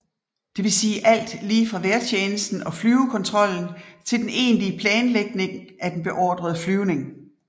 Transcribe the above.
Det vil sige alt lige fra vejrtjenesten og flyvekontrollen til den egentlige planlægning af den beordrede flyvning